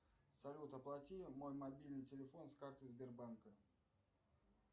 салют оплати мой мобильный телефон с карты сбербанка